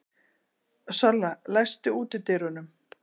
Solla, læstu útidyrunum.